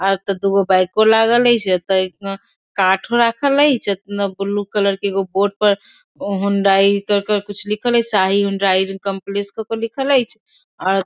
आ एता दू गो बाइको लागल ए से एते हूं काठो राखल छै एगो ब्लू कलर बॉर्ड पर होंडई कर कर कुछ लिखल हेय शाही हुंडई कंपलेक्स क करके लिखल एच्छ अ --